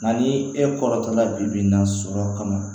Nka ni e kɔrɔtɔla bi bi in na sɔrɔ kama